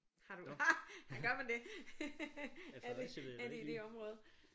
Har du har gør man det er det er det i det område